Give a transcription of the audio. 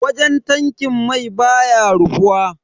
Wajen tankin mai baya rufuwa.